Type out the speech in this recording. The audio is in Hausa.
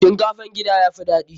Shinkafan gida ya fi daɗi.